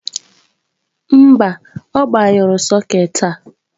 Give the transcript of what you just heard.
mba, ọ gbanyụrụ sokeetị a.